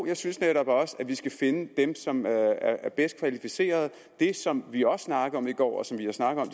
jeg synes netop også at vi skal finde dem som er bedst kvalificerede det som vi også snakkede om i går og som vi har snakket om